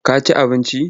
Ka ci abinci?